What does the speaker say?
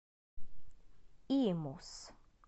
имус